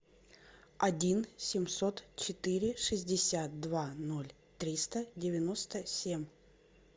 один семьсот четыре шестьдесят два ноль триста девяносто семь